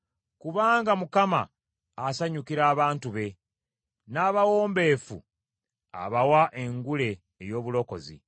Kubanga Mukama asanyukira abantu be, n’abawombeefu abawa engule ey’obulokozi.